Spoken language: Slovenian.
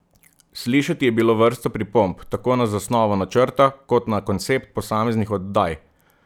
Slišati je bilo vrsto pripomb tako na zasnovo načrta kot na koncept posameznih oddaj.